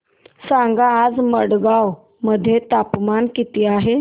सांगा आज मडगाव मध्ये तापमान किती आहे